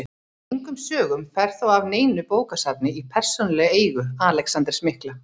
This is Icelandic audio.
Engum sögum fer þó af neinu bókasafni í persónulegri eigu Alexanders mikla.